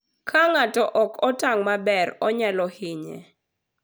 Ka ng'ato ok otang' maber, onyalo hinye.